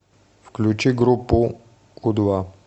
включи группу у два